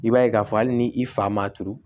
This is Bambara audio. I b'a ye k'a fɔ hali ni i fa ma turu